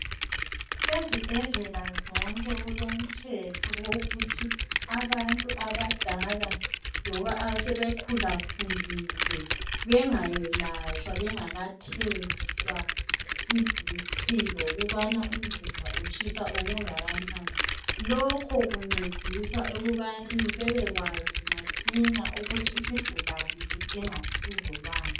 Esibhedlela zonke kulomthetho wokuthi abantu abadala loba asebe khula khulile bengayelatshwa bengaka hlolwa iBp lokubana umzimba utshisa okungakanani lokho kuncedisa ukubana bebekwazi masinya ukuthi isigulane sidinga usizo lwani.